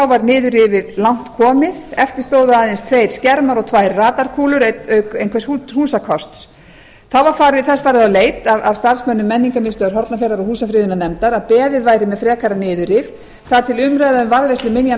var niðurrifið langt komið eftir stóðu aðeins tveir skermar og tvær radarkúlur auk einhvers húsakosts þá var þess farið á leit af starfsmönnum menningarmiðstöðvar hornafjarðar og húsafriðunarnefndar að beðið væri með frekara niðurrif þar til umræða um varðveislu minjanna